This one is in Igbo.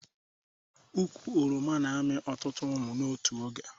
Ụkwụ oroma na amị ọtụtụ ụmụ n'otu oge